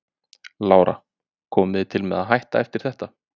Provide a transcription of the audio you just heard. Lára: Komið þið til með að hætta eftir þetta?